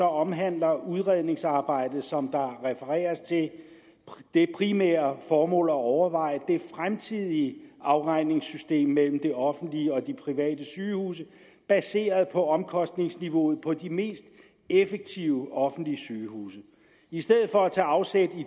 omhandler udredningsarbejdet som der refereres til det primære formål at overveje det fremtidige afregningssystem mellem det offentlige og de private sygehuse baseret på omkostningsniveauet på de mest effektive offentlige sygehuse i stedet for at tage afsæt i